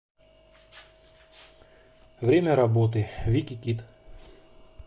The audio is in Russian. время работы викикид